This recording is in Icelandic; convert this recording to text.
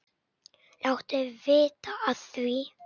Láttu vita af því.